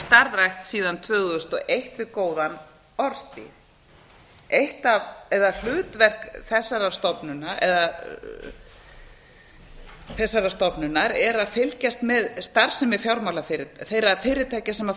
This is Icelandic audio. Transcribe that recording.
starfrækt síðan tvö þúsund og eitt við góðan orðstír hlutverk þessarar stofnunar er að fylgjast með starfsemi fjármálafyrirtækja þeirra fyrirtækja sem